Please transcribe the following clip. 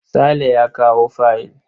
Sale ya kawo fayil.